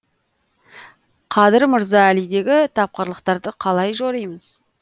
қадыр мырза әлидегі тапқырлықтарды қалай жоримыз